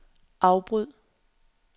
afbryd